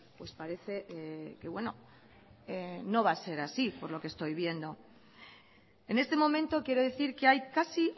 pues parece que bueno no va a ser así por lo que estoy viendo en este momento quiero decir que hay casi